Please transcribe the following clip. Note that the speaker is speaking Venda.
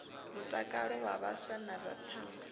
mutakalo wa vhaswa na thangana